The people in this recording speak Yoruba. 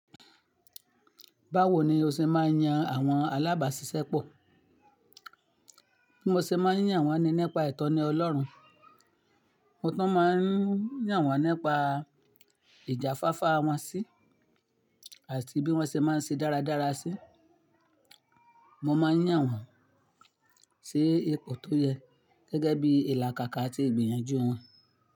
Báwo ni o ṣe máa ń yan àwọn alábàásisẹ́pọ̀? Bí mo ṣe máa ń yàn wọ́n ni nípa ìtọ́ni Ọlọ́run, mo tún máa ń yàn wọ́n nípa ìjà fáfá wọn sí, àti bí wọ́n ṣe máa ń ṣe dáradára sí, mo máa ń yàn wọ́n sí ipò tó yẹ gẹ́gẹ́ bí ìlàkàkà àti ìgbìyànjú wọn.